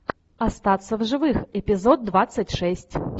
остаться в живых эпизод двадцать шесть